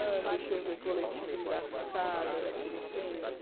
Ah, deixa eu ver, coletiva engraçada daquele tempo...